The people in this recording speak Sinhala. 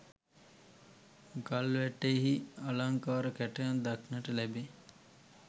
ගල්වැටෙහි අලංකාර කැටයම් දක්නට ලැබේ.